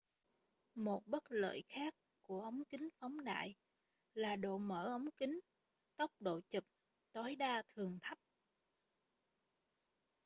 một bất lợi khác của ống kính phóng đại là độ mở ống kính tốc độ chụp tối đa thường thấp